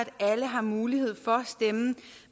alle har mulighed for at stemme